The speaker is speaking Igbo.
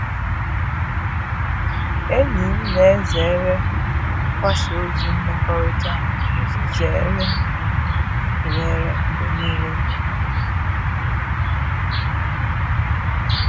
Enyi m na-ezere mgbasa ozi mmekọrịta iji zere ntụnyere mgbe niile na ụkpụrụ ịma mma.